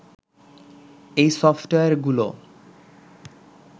এই সফটওয়্যারগুলো